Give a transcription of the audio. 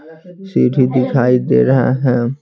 सीढ़ी दिखाई दे रहा है।